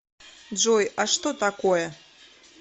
джой а что такое